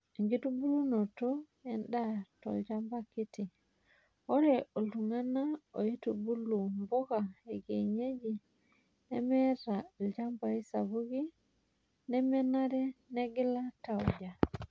Enkitubulunoto enda toolchamba kiti:Ore ilung'ana oitubulu mpuka ekienyeji lemeata ilchambai sapuki nemenare negila tauja .